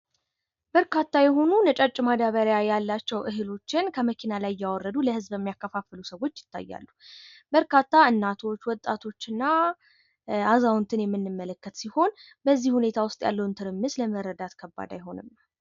በርካታ የሆኑ ነጫጭ ማዳበሪያ ያላቸው እህሎችን ከመኪና ላይ እያወረዱ ለህዝብ የሚያከፋፍሉ ሰዎች ይታያሉ። በርካታ እናቶች ወጣቶች እና አዛውንትን የምንመለከት ሲሆን በዚህ ዉስጥ ያለውን ሁኔታ መረዳት ከባድ ነው።